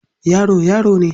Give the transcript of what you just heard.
Yaro, yaro ne.